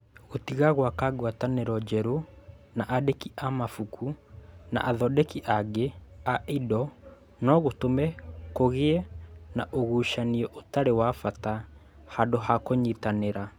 Gũtiga gwaka ngwatanĩro njerũ na aandĩki a mabuku na athondeki angĩ a indo no gũtũme kũgĩe na ũgucania ũtarĩ wa bata handũ ha kũnyitanĩra